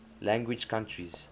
language countries